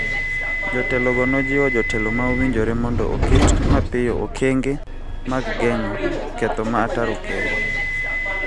Jotelogo nojiwo jotelo ma owinjore mondo oket mapiyo okenge mag geng�o ketho ma ataro kelo.